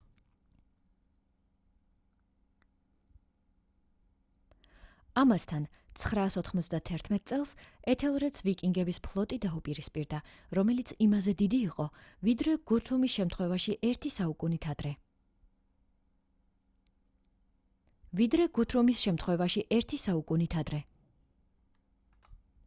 ამასთან 991 წელს ეთელრედს ვიკინგების ფლოტი დაუპირისპირდა რომელიც იმაზე დიდი იყო ვიდრე გუთრუმის შემთხვევაში ერთი საუკუნით ადრე